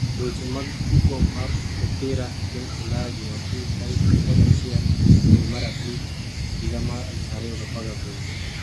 Weche mag tugo mar mupira e piny Ulaya Jumapil tarik 11.05.2018